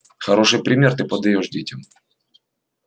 хороший пример ты подаёшь детям